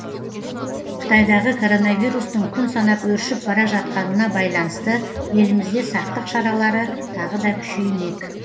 қытайдағы коронавирустың күн санап өршіп бара жатқанына байланысты елімізде сақтық шаралары тағы да күшеймек